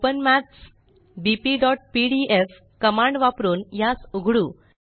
open maths bpपीडीएफ command वापरुन यास उघडू